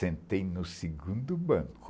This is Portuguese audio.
Sentei no segundo banco.